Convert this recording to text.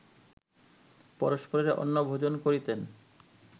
পরস্পরের অন্নভোজন করিতেন